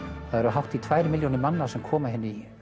hátt í tveggja milljón manna sem koma hingað í